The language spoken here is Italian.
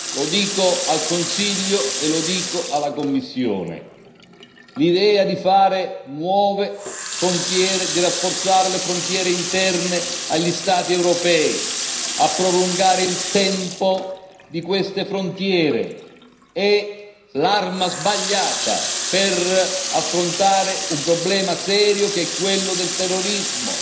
Lo dico al Consiglio e lo dico alla Commissione l'idea di creare nuove frontiere, di rafforzare le frontiere interne agli Stati europei, di prolungare il tempo a queste frontiere è l'arma sbagliata per affrontare un problema serio che è quello del terrorismo.